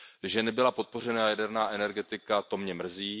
Že nebyla podpořena jaderná energetika, to mě mrzí.